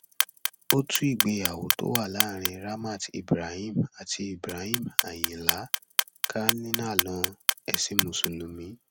ó tú ìgbéyàwó tó wà láàrin ramat ibrahim àti ibrahim ayinla ká nílànà ẹsìn mùsùlùmí